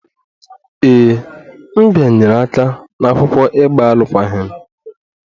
Ee, m bịanyere aka n'akwụkwọ ịgba alụkwaghịm